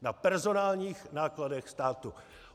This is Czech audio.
Na personálních nákladech státu!